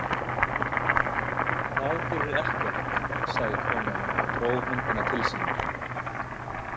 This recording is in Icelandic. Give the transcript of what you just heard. Það gerir ekkert, sagði konan og dró höndina til sín.